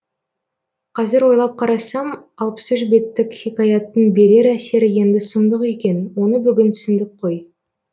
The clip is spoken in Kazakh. қазір ойлап қарасам алпыс үш беттік хикаяттың берер әсері енді сұмдық екен оны бүгін түсіндік қой